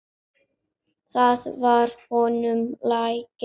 Það var honum lagið.